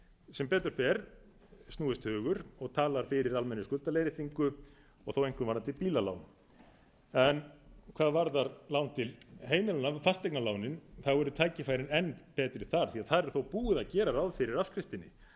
sem betur fer snúist hugur og talað fyrir almennri skuldaleiðréttingu og þó einkum varðandi bílalánin en hvað varðar lán til heimilanna fasteignalánin eru tækifærin enn betri þar því þar er þó búið að gera ráð fyrir afskriftinni þar